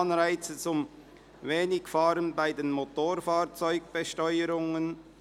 Anreize zum Wenigfahren bei der Motorfahrzeugbesteuerung».